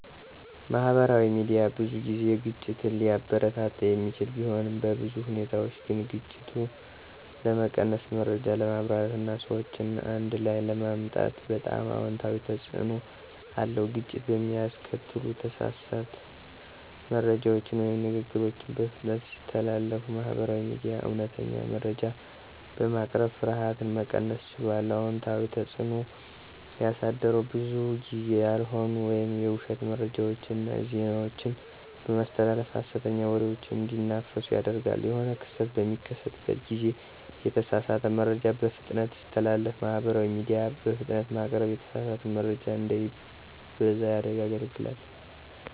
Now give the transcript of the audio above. ማህበራዊ ሚዲያ ብዙ ጊዜ ግጭትን ሊያበረታታ የሚችል ቢሆንም፣ በብዙ ሁኔታዎች ግን ግጭት ለመቀነስ፣ መረጃ ለማብራራት እና ሰዎችን አንድ ላይ ለማምጣት በጣም አዎንታዊ ተጽዕኖ አለዉ። ግጭት በሚያስከትሉ ተሳሳተ መረጃዎች ወይም ንግግሮችን በፍጥነት ሲተላለፉ ማህበራዊ ሚዲያ እውነተኛ መረጃ በማቅረብ ፍርሃትን መቀነስ ችሏል። አዎንታዊ ተጽዕኖ ያሳደረዉ ብዙ ጊዜ ያልሆኑ ወይም የዉሸት መረጃዎችን እና ዜናዎችን በማስተላለፍ ሀሰተኛ ወሬዎች እንዲናፈሱ ያደርጋል። የሆነ ክስተቶች በሚከሰቱ ጊዜ የተሳሳተ መረጃ በፍጥነት ሲተላለፍ ማህበራዊ ሚዲያ በፍጥነት በማቅረብ የተሳሳተ መረጃ እንዳይበዛ ያገለግላል።